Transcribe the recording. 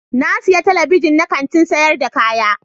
Na siya Telebijin na Kantin sayar da kaya.